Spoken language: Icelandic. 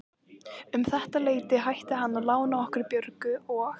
Um þetta leyti hætti hann að lána okkur Björgu og